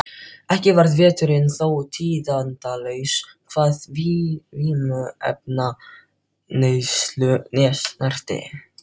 Ekki varð veturinn þó tíðindalaus hvað vímuefnaneyslu snerti.